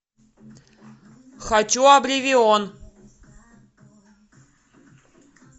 хочу обливион